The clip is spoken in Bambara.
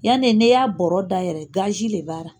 Yanne n'e y'a bɔrɔ dayɛrɛ le b'a ra.